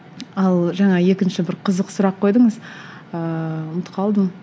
ал жаңа екінші бір қызық сұрақ қойдыңыз ыыы ұмытып қалдым